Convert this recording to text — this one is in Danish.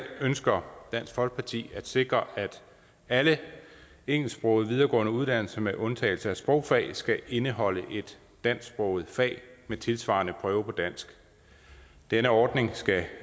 ønsker dansk folkeparti at sikre at alle engelsksprogede videregående uddannelser med undtagelse af sprogfag skal indeholde et dansksproget fag med tilsvarende prøve på dansk denne ordning skal